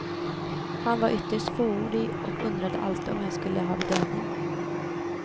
Han var ytterst fåordig och undrade alltid om jag skulle ha bedövning.